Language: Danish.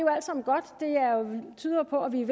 tyder på at vi er